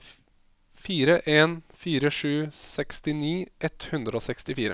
fire en fire sju sekstini ett hundre og sekstifire